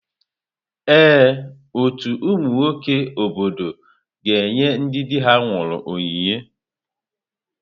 Ee, ọtú ụmụ nwoke obodo ga-enye ndị di ha nwụrụ onyinye.